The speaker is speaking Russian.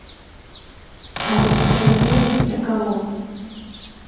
алексей андреевич соколов